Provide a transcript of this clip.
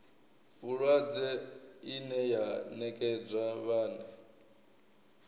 vhulwadze ine ya nekedzwa vhane